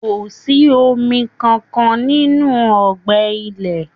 Kò sí omi kankan nínú ọgbẹ ilẹ́.